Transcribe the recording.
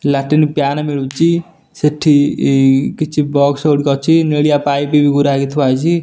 Latrine pan ମିଳୁଚି ସେଠି ଏଇ କିଛି ବକ୍ସ ଗୁଡିକ ଅଛି ନିଳିଆ ପାଇପ ବି ଗୁରା ହେଇକି ଥୁଆ ହେଇଚି।